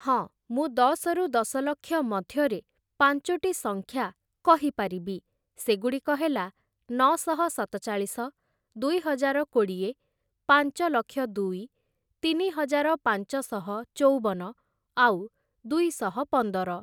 ହଁ, ମୁଁ ଦଶରୁ ଦଶଲକ୍ଷ ମଧ୍ୟରେ ପାଞ୍ଚୋଟି ସଂଖ୍ୟା କହିପାରିବି ସେଗୁଡ଼ିକ ହେଲା ନଅଶହ ସତଚାଳିଶ, ଦୁଇହଜାର କୋଡ଼ିଏ, ପାଞ୍ଚଲକ୍ଷ ଦୁଇ, ତିନିହଜାର ପାଞ୍ଚଶହ ଚଉବନ, ଆଉ ଦୁଇଶହ ପନ୍ଦର ।